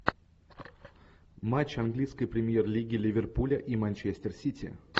матч английской премьер лиги ливерпуля и манчестер сити